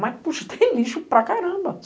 Mas, puxa, tem lixo para caramba.